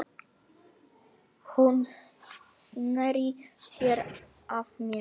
Hún sneri sér að mér.